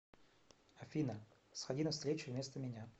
афина сходи на встречу вместо меня